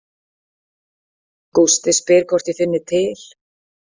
Gústi spyr hvort ég finni til.